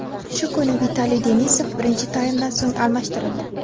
Shu kuni Vitaliy Denisov birinchi taymdan so‘ng almashtirildi.